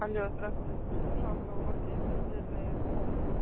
алло здравствуйте а скажите пожалуйста у вас есть отдельные комнаты